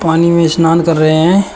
पानी में स्नान कर रहे हैं।